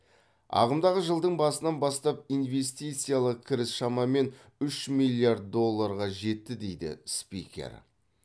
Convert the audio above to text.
ағымдағы жылдың басынан бастап инвестициялық кіріс шамамен үш миллиард долларға жетті дейді спикер